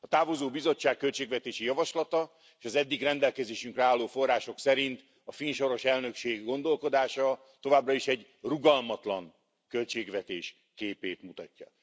A távozó Bizottság költségvetési javaslata és az eddig rendelkezésünkre álló források szerint a finn soros elnökség gondolkodása továbbra is egy rugalmatlan költségvetés képét mutatja.